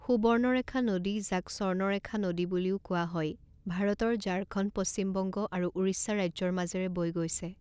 সুবৰ্ণৰেখা নদী যাক স্বৰ্ণৰেখা নদী বুলিও কোৱা হয় ভাৰতৰ ঝাৰখণ্ড পশ্চিম বংগ আৰু উৰিষ্যা ৰাজ্যৰ মাজেৰে বৈ গৈছে।